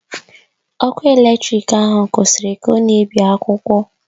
Ọkụ eletrik ahụ kwụsịrị ka ọ na-ebi akwụkwọ.